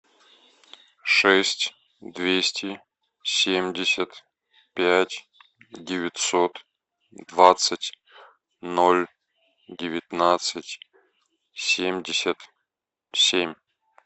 шесть двести семьдесят пять девятьсот двадцать ноль девятнадцать семьдесят семь